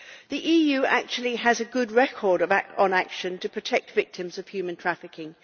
The EU actually has a good record on action to protect victims of human trafficking.